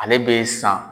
Ale bɛ san